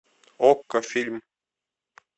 окко фильм